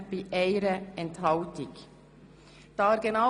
Der Grosse Rat beschliesst: Annahme